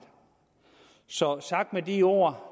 så sagt med de ord